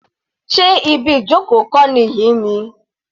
Sé ibi ìjoko kọ́ nìyí ni?